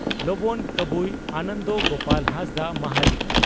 ᱞᱚᱸᱵᱚᱱ ᱠᱟᱵᱩᱭ (ᱠᱟᱵᱩᱭ) ᱟᱱᱚᱱᱫᱚ ᱜᱚᱯᱟᱞ ᱦᱟᱸᱥᱫᱟ (ᱢᱟᱦᱟᱞᱤ)